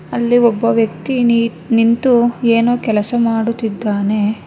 ಅಲ್ಲಿ ಒಬ್ಬ ವ್ಯಕ್ತಿ ನಿ ನಿಂತು ಏನೋ ಕೆಲಸ ಮಾಡುತ್ತಿದ್ದಾನೆ